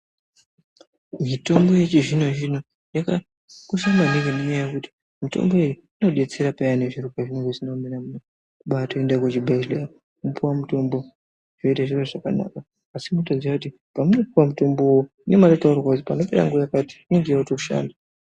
Mitombo yechizvino zvino yakosha maningi ngenyaya yekuti mitomboyo iyi inodetsera peyani zviro pazvinenge zvisina kumira mushe, kubatoenda kuzvibhehleya wopiwe mitombo zviro zvoite zvakanaka asi kutoziya kuti paunopiwa mutombowo munenge matotaurirwa kuti panopera nguwa yakati inenge yotoshanda .